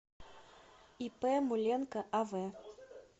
ип муленко ав